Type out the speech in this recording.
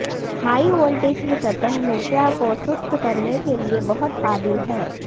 high voltage کی سطح نشہ کو سست کرنے کے لئے بہت قابل ہے